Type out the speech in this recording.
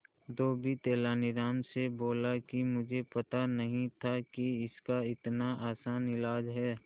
धोबी तेनालीराम से बोला मुझे पता नहीं था कि इसका इतना आसान इलाज है